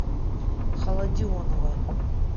холодионова